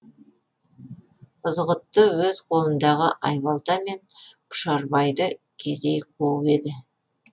ызғұтты өз қолындағы айбалтамен пұшарбайды кезей қуып еді